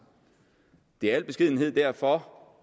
det er i al beskedenhed derfor